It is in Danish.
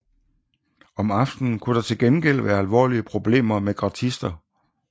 Om aftenen kunne der til gengæld være alvorlige problemer med gratister